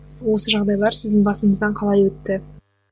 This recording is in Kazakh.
осы жағдайлар сіздің басыңыздан қалай өтті